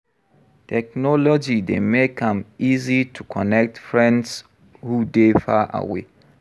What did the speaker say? Technology dey make am easy to connect friends who dey far away.